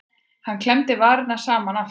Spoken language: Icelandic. Hann klemmdi varirnar saman aftur.